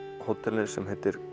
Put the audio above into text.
hóteli sem heitir